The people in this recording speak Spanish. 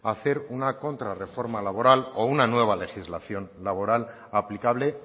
hacer una contra reforma laboral o una nueva legislación laboral aplicable